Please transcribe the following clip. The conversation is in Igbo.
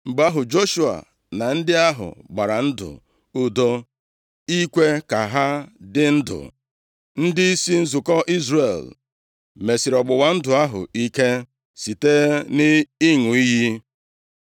Mgbe ahụ, Joshua na ndị ahụ gbara ndụ udo ikwe ka ha dị ndụ. Ndịisi nzukọ Izrel mesiri ọgbụgba ndụ ahụ ike site nʼịṅụ iyi.